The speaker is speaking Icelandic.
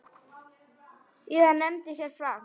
Síðast nefndi séra Frank